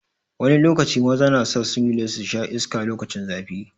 Wani lokaci maza na sa singlet su sha iska lokacin zafi.